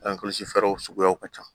fɛɛrɛw suguyaw ka ca